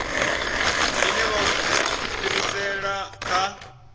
ine vha o fhirisela kha